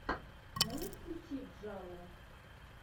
можешь включить джалло